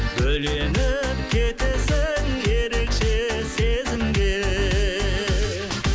бөленіп кетесің ерекше сезімге